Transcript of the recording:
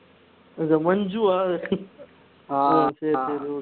இது மஞ்சு வா ஆஹ் சரி சரி okay